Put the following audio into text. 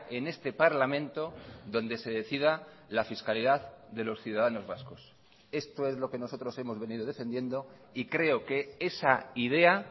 en este parlamento donde se decida la fiscalidad de los ciudadanos vascos esto es lo que nosotros hemos venido defendiendo y creo que esa idea